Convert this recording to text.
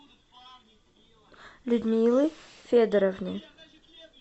людмилы федоровны